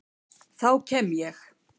Þá kem ég